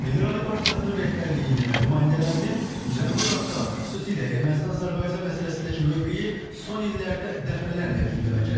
Milli Ralli Partiyasının rəhbərliyinin və nümayəndələrinin Cənubi Qafqaz, xüsusilə Ermənistan-Azərbaycan məsələsindəki mövqeyi son illərdə dəfələrlə gündəmə gəlib.